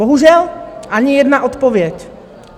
Bohužel, ani jedna odpověď.